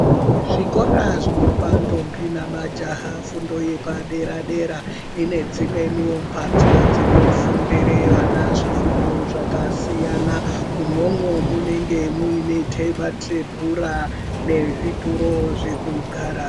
Zvikora zvinopa ndombi namajaha fundo yepadera dera, ine dzimweniwo mbatso dzinofundire vana zvifundo zvakasiyana. Umwomwo mwunenga mwune tebhura nezvituro zvekugara.